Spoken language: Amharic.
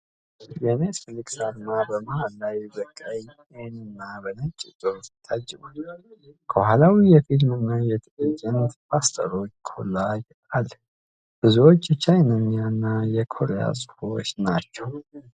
የኔትፍሊክስ አርማ በመሃል ላይ በቀይ ኤን እና በነጭ ጽሑፍ ታጅቧል። ከኋላው የፊልም እና የትዕይንት ፖስተሮች ኮላጅ አለ፣ ብዙዎቹ የቻይንኛ እና የኮሪያ ጽሑፎችን ናቸው።